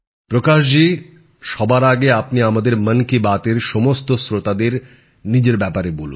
প্রকাশজি সবার আগে আপনি আমাদের মন কি বাত এর সমস্ত শ্রোতাদের নিজের ব্যাপারে বলুন